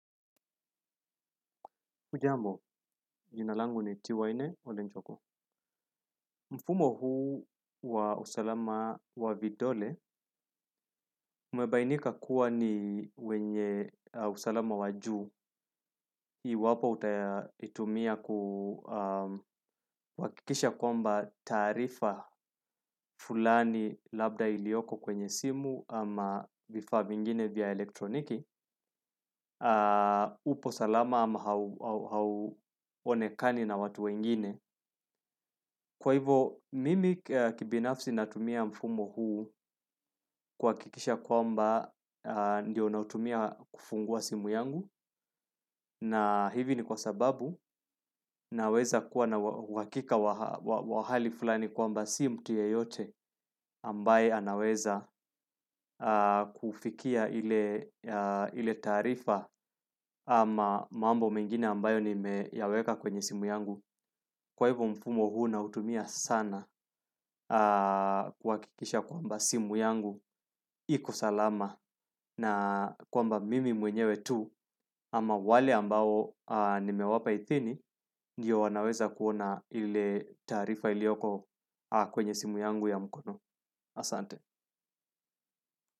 Hujambo, jina langu ni tiwaine ole nchoko. Mfumo huu wa usalama wa vidole, umebainika kuwa ni wenye usalama wajuu, iwapo utaitumia kuhakikisha kwamba taarifa fulani labda ilioko kwenye simu ama vifaa vingine vya elektroniki, upo salama ama hauonekani na watu wengine. Kwa hivo mimi kibinafsi natumia mfumo huu kuhakikisha kwamba ndio nautumia kufungua simu yangu na hivi ni kwa sababu naweza kuwa na uhakika wa hali fulani kwamba si mtu yeyote ambaye anaweza kufikia ile taarifa ama mambo mengine ambayo nime yaweka kwenye simu yangu. Kwahivyo mfumo huu ninautumia sana kuhakikisha kwamba simu yangu iko salama na kwamba mimi mwenyewe tu ama wale ambao nime wapa idhini ndio wanaweza kuona ile taarifa ilioko kwenye simu yangu ya mkono. Asante.